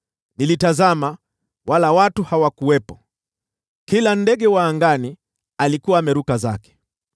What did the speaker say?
Nilitazama, wala watu hawakuwepo; kila ndege wa angani alikuwa ameruka zake.